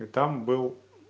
и там был